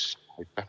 Aitäh!